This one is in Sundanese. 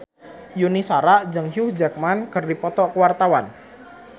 Yuni Shara jeung Hugh Jackman keur dipoto ku wartawan